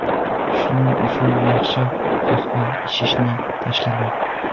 Shuning uchun yaxshisi, qahva ichishni tashlamang.